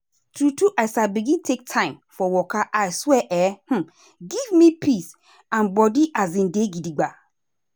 true true as i begin take time for waka i swear e um give me peace and body um dey gidigbam.